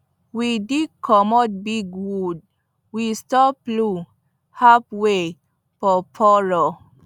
we dig comot big wood wey stop plow halfway for furrow